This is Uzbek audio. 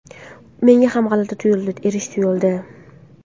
Menga ham g‘alati tuyuldi, erish tuyuldi.